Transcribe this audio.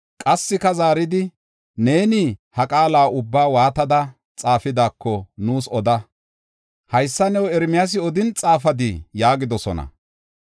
Qassika zaaridi, “Neeni ha qaala ubbaa waatada xaafidaako nuus oda. Haysa new Ermiyaasi odin xaafadii?” yaagidosona.